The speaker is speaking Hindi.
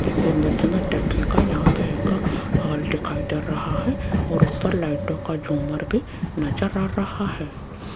इस इमेज में देखिएगा यहां पे एक हाल दिखाई दे रहा है और ऊपर लाइटों का झूमर भी नज़र आ रहा है।